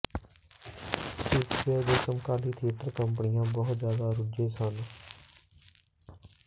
Shakespeare ਦੇ ਸਮਕਾਲੀ theatre ਕੰਪਨੀਆਂ ਬਹੁਤ ਜ਼ਿਆਦਾ ਰੁੱਝੇ ਸਨ